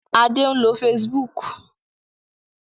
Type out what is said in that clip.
Adé ń lo Facebook.